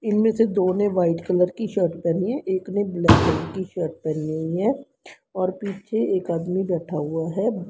इनमें से दो ने व्हाइट कलर की शर्ट पहनी है एक ने ब्लैक कलर की शर्ट पहनी है और पीछे एक आदमी बैठा हुआ है।